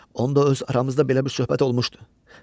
Onda öz aramızda belə bir söhbət olmuşdu.